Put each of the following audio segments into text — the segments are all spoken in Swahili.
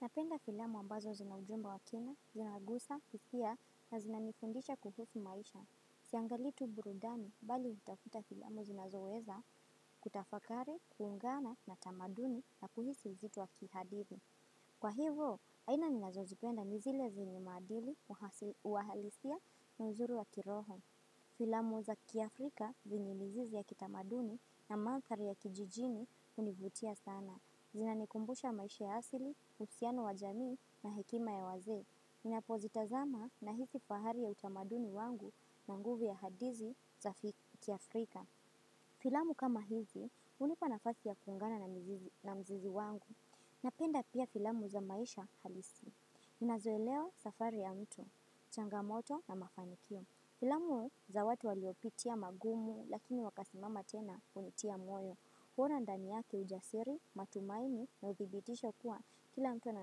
Napenda filamu ambazo zinaujumba wa kina, zinagusa, hisia na zina nifundisha kuhufi maisha. Siangalii tu burudani bali hutafuta filamu zinazoweza kutafakari, kuungana na tamaduni na kuhisi vizitu wa kihadithi. Kwa hivo, aina ninazozipenda ni zile zenye maadili, uhalisia, na uzuri wa kiroho. Filamu za kiafrika venye mizizi ya kitamaduni na manthari ya kijijini hunivutia sana. Zinanikumbusha maisha ya asili, usiano wa jamii na hekima ya wazee. Ninapozitazama nahizi fahari ya utamaduni wangu na nguvu ya hadizi za kiafrika. Filamu kama hizi, hunipanafasi ya kungana na mzizi wangu. Napenda pia filamu za maisha halisi. Minazoelewa safari ya mtu, changamoto na mafanikio. Filamu za watu waliopitia magumu, lakini wakasimama tena kunitia moyo. Bora ndani yake ujasiri, matumaini na uthibitisho kuwa kila mtu ana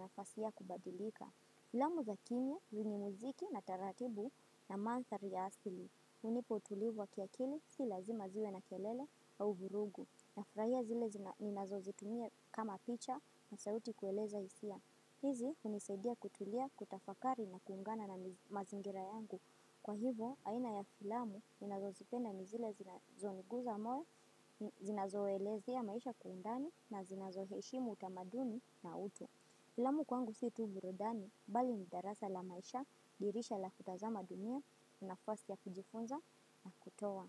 nafasi ya kubadilika. Filamu za kimia, zingi muziki na taratibu na manthari ya asili. Unipo tulivu wa kiakili si lazima ziwe na kelele au virugu. Nafurahia zile ninazozitumia kama picha na sauti kueleza hisia. Hizi hunisaidia kutulia kutafakari na kuungana na mazingira yangu. Kwa hivo aina ya filamu ninazozipenda ni zile zinazoniguza moyo zinazoelezea maisha kwa undani na zinazoheshimu utamaduni na utu. Filamu kwangu si tu virudani, bali ni darasa la maisha, dirisha la kutazama dunia, nafasi ya kujifunza na kutowa.